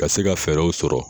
Ka se ka fɛɛrɛw sɔrɔ